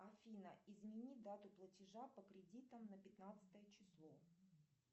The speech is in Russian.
афина измени дату платежа по кредитам на пятнадцатое число